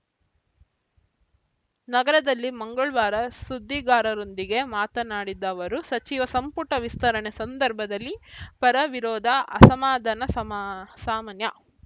ನಗರದಲ್ಲಿ ಮಂಗಳ್ ವಾರ ಸುದ್ದಿಗಾರರೊಂದಿಗೆ ಮಾತನಾಡಿದ ಅವರು ಸಚಿವ ಸಂಪುಟ ವಿಸ್ತರಣೆ ಸಂದರ್ಭದಲ್ಲಿ ಪರವಿರೋಧ ಅಸಮಾಧಾನ ಸಮಾ ಸಾಮಾನ್ಯ